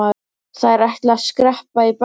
Þær ætli að skreppa í bæinn.